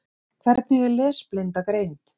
Hvernig er lesblinda greind?